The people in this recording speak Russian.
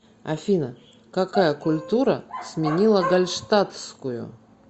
афина какая культура сменила гальштатскую